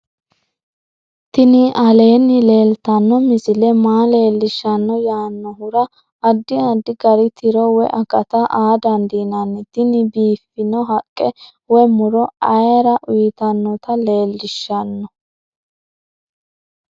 tini aleenni leeltanno misile maa leellishshanno yaannohura addi addi gari tiro woy akata aa dandiinanni tini biiffino haqqe woy muro ayere uytannota leellishshanno